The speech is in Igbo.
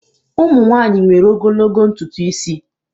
ụmụ nwanyị nwere ogologo ntutu isi.